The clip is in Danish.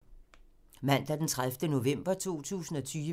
Mandag d. 30. november 2020